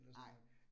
Nej